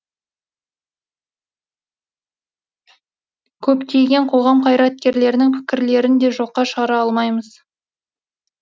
көптеген қоғам қайраткерлерінің пікірлерін де жоққа шығара алмаймыз